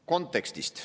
Kontekstist.